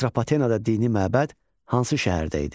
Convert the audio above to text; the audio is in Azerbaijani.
Atropatenada dini məbəd hansı şəhərdə idi?